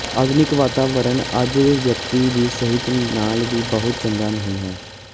ਆਧੁਨਿਕ ਵਾਤਾਵਰਣ ਅੱਜ ਿਵਅਕਤੀ ਦੀ ਸਿਹਤ ਲਈ ਵੀ ਬਹੁਤ ਚੰਗਾ ਨਹੀ ਹੈ